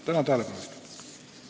Tänan tähelepanu eest!